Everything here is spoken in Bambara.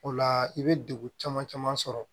O la i bɛ degun caman caman sɔrɔ